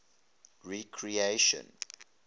recreation